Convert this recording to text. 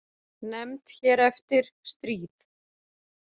Nefnd hér eftir: Stríð.